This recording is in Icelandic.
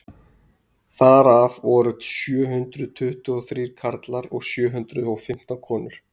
þar af voru sjö hundruð tuttugu og þrír karlar og sjö hundruð og fimmtán konur